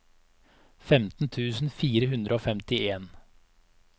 femten tusen fire hundre og femtien